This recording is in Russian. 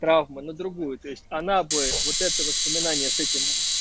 травма на другую то есть она бы вот это воспоминание с этим с